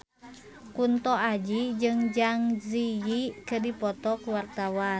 Kunto Aji jeung Zang Zi Yi keur dipoto ku wartawan